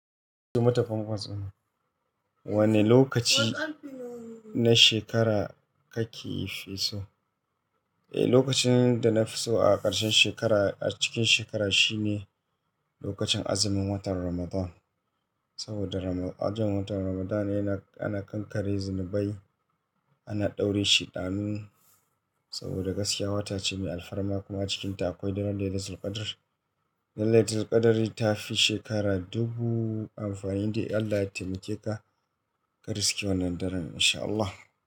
Mutumatafan fasina, wanne lokaci na shekara kake fi so? Eh, lokacin da na fi so a ƙarshen shekara a cikin shekara shine lokacin azumin watan Ramadan. Saboda ajin watan Ramadan yana, ana kankare zunubai, ana ɗaurin shi ɗamin saboda gaskiya wata ce mai alfarma kuma a cikinta akwai laylatul qadr. Laylatul qadri ta fi shekara dubu amfanin da Allah ya taimakeka ka riske wannan daren in sha Allah.